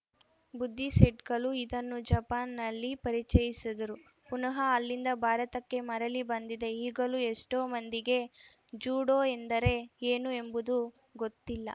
ಬುದ್ದಿಸೆಟ್ಗಳು ಇದನ್ನು ಜಪಾನ್‌ನಲ್ಲಿ ಪರಿಚಯಿಸಿದರು ಪುನಃ ಅಲ್ಲಿಂದ ಭಾರತಕ್ಕೆ ಮರಳಿ ಬಂದಿದೆ ಈಗಲೂ ಎಷ್ಟೊಮಂದಿಗೆ ಜುಡೋ ಎಂದರೆ ಏನು ಎಂಬುದು ಗೊತ್ತಿಲ್ಲ